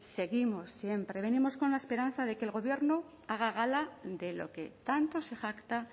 seguimos siempre venimos con la esperanza de que el gobierno haga gala de lo que tanto se jacta